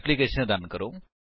application run ਕਰੋ